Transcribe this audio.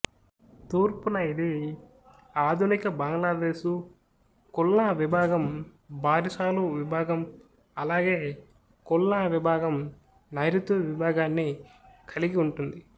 తూర్పున ఇది ఆధునిక బంగ్లాదేశు ఖుల్నా విభాగం బారిసాలు విభాగం అలాగే ఖుల్నా విభాగం నైరుతి విభాగాన్ని కలిగి ఉంది